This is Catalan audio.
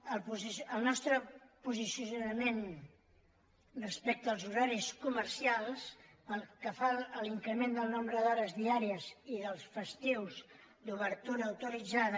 el nostre posicionament respecte als horaris comercials pel que fa a l’increment del nombre d’hores diàries i dels festius d’obertura autoritzada